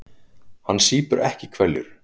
Hann sýpur ekki hveljur.